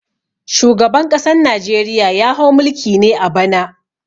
Shugaban ƙasan Najeriya ya hau mulki ne a bana.